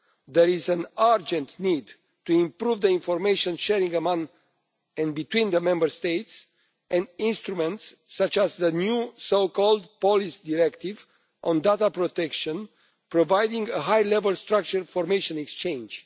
There is an urgent need to improve information sharing among and between the Member States, and for instruments such as the new so called Police Directive on data protection, providing a high level structure for information exchange.